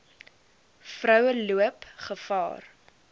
vroue loop gevaar